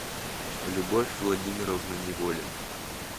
любовь владимировна неволина